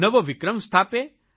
નવો વિક્રમ સ્થાપે